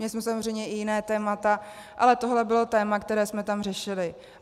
Měli jsme samozřejmě i jiná témata, ale tohle bylo téma, které jsme tam řešili.